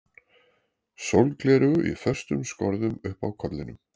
Sólgleraugu í föstum skorðum uppi á kollinum.